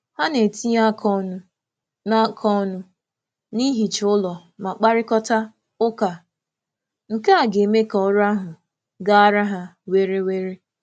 Ha na-etinye aka ọnụ na aka ọnụ na ihicha ụlọ ma kparịkọta ụka, nkea ga-eme ka ọrụ ahụ gaara ha were were